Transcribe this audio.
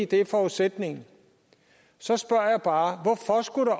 det er forudsætningen så spørger jeg bare hvorfor skulle